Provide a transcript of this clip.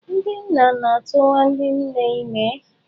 Ndị nna na-atụwa ndị nne ime.